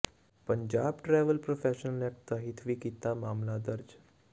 Punjab travel professional act ਤਹਿਤ ਵੀ ਕੀਤਾ ਮਾਮਲਾ ਦਰਜ